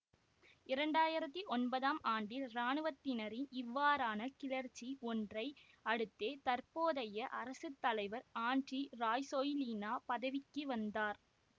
இரண்டு ஆயிரத்தி ஒன்பதாம் ஆண்டில் இராணுவத்தினரின் இவ்வாறான கிளர்ச்சி ஒன்றை அடுத்தே தற்போதைய அரசு தலைவர் ஆண்ட்ரி ராசொய்லினா பதவிக்கு வந்தார்